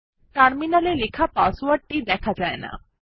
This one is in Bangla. টার্মিনাল এ লেখা পাসওয়ার্ডটি দেখা যায় না